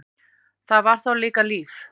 Það var þá líka líf!